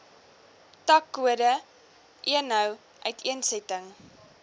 takkode eno uiteensetting